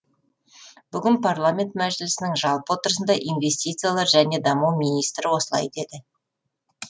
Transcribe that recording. бүгін парламент мәжілісінің жалпы отырысында инвестициялар және даму министрі осылай деді